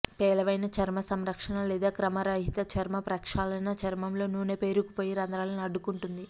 పేలవమైన చర్మ సంరక్షణ లేదా క్రమరహిత చర్మ ప్రక్షాళన చర్మంలో నూనె పేరుకుపోయి రంధ్రాలను అడ్డుకుంటుంది